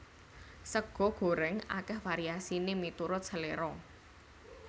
Sega gorèng akèh variasiné miturut seléra